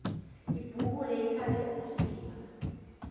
ibhukule ithathe usiba